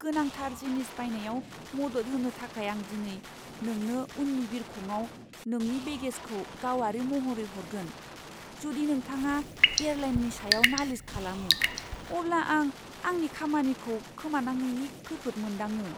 गोनांथार जिनिस बायनायाव मद'द होनो थाखाय आं दिनै नोंनो उननि बिरखंआव नोंनि बेगेजखौ गावारि महरै हरगोन। जुदि नोंथाङा एयारलाइननि सायाव नालिस खालामो, अब्ला आं आंनि खामानिखौ खोमानांनायनि खैफोद मोनदाङो।